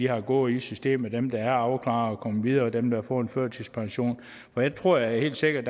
har gået i systemet dem der er afklaret og kommet videre og dem der har fået førtidspension for jeg tror helt sikkert